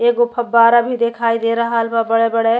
एगो फब्बारा भी दिखाई दे रहल बा बड़े-बड़े --